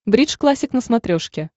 бридж классик на смотрешке